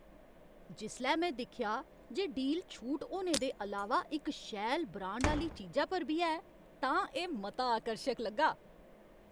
जिसलै में दिक्खेआ जे डील छूट होने दे अलावा इक शैल, ब्रांड आह्‌ली चीजा पर बी है तां एह् मता आकर्शक लग्गा।